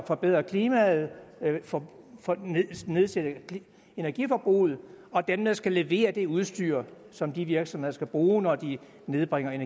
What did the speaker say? forbedre klimaet altså får nedsat nedsat energiforbruget og dem der skal levere det udstyr som de virksomheder skal bruge når de nedbringer